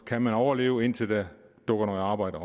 kan overleve indtil der dukker noget arbejde